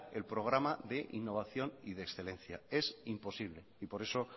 el programa de innovación y excelencia es imposible y por eso